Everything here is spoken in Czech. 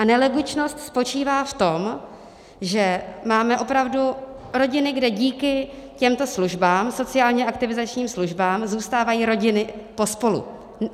A nelogičnost spočívá v tom, že máme opravdu rodiny, kde díky těmto službám, sociálně aktivizačním službám, zůstávají rodiny pospolu.